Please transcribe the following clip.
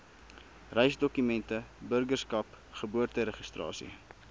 reisdokumente burgerskap geboorteregistrasie